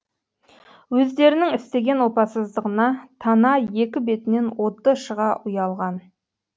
өздерінің істеген опасыздығына тана екі бетінен оты шыға ұялған